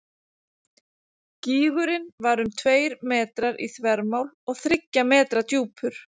Gígurinn var um tveir metrar í þvermál og þriggja metra djúpur.